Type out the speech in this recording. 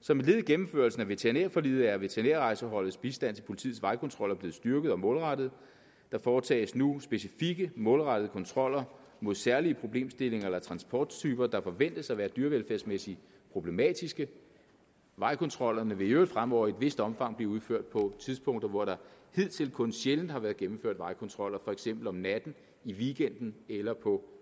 som et led i gennemførelsen af veterinærforliget er veterinærrejseholdets bistand til politiets vejkontroller blevet styrket og målrettet og der foretages nu specifikke målrettede kontroller mod særlige problemstillinger eller transporttyper der forventes at være dyrevelfærdsmæssigt problematiske vejkontroller vil i øvrigt fremover i et vist omfang blive udført på tidspunkter hvor der hidtil kun sjældent har været gennemført vejkontroller for eksempel om natten i weekenden eller på